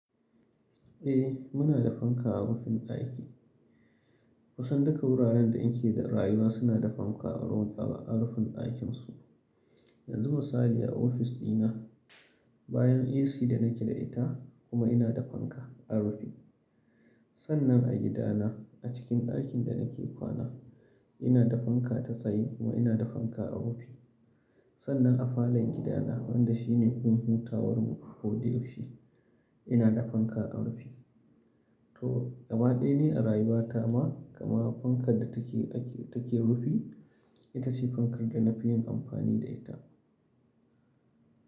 Eh muna da fanka a rufin aiki. Kusan duka wuraren da in ke da rayuwa suna da fanka a rufin aikin su. Yanzu misali a ofis dina bayan AC da na ke da ita kuma ina da fanka a rufi. Sannan a gidana a cikin ɗakin da na ke kwana ina da fanka ta tsaye kuma ina da fanka a rufi. Sannan a falon gidana wanda shi ne gurin hutawanmu ko da yaushe ina da fanka a rufi. To gabaɗaya ne a rayuwa ta ma kamawa fankar da take rufi ita ce fankar da na fi yin amfani da ita.